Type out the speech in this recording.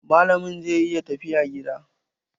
Malamin zai yi tafiya gida.